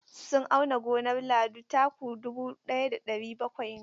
Sun auna gonar Lado, taku dubu ɗaya da ɗari bakwai ne.